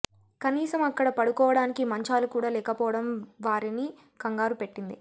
కనీసం అక్కడ పడుకోవడానికి మంచాలు కూడా లేకపోవడం వారిని కంగారు పెట్టింది